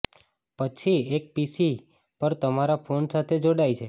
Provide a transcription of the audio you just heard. પછી એક પીસી પર તમારા ફોન સાથે જોડાય છે